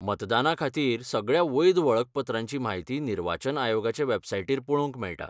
मतदानाखातीर सगळ्या वैध वळखपत्रांची म्हायती निर्वाचन आयोगाचे वॅबसाइटीर पळोवंक मेळटा.